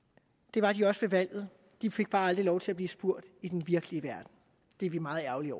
det var de også ved valget de fik bare aldrig lov til at blive spurgt i den virkelige verden det er vi meget ærgerlige